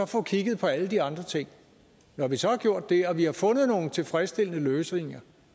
få kigget på alle de andre ting når vi så har gjort det og vi har fundet nogle tilfredsstillende løsninger